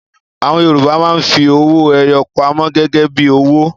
Àwọn Yorùbá máa ń fi owó-ẹyọ pamọ́ gẹ́gẹ́ bí owó.